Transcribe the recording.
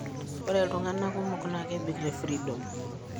Ore iltung'ana kumok naa kebik te freedom.